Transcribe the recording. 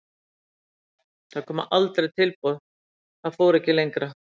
Það koma aldrei tilboð svo það fór ekkert lengra.